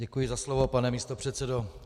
Děkuji za slovo, pane místopředsedo.